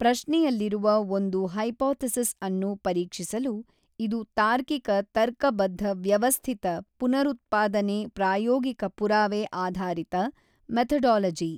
ಪ್ರಶ್ನೆಯಲ್ಲಿರುವ ಒಂದು ಹೈಪೊಥೆಸಿಸ್ ಅನ್ನು ಪರೀಕ್ಷಿಸಲು ಇದು ತಾರ್ಕಿಕ ತರ್ಕಬದ್ಧ ವ್ಯವಸ್ಥಿತ ಪುನರುತ್ಪಾದನೆ ಪ್ರಾಯೋಗಿಕ ಪುರಾವೆ ಆಧಾರಿತ ಮೆಥೊಡೊಲೊಜಿ.